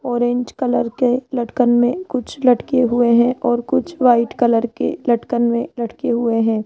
Orange colour के लटकन मे कुछ लटके हुए है और कुछ व्हाइट कलर के लटकन मे लटके हुए है।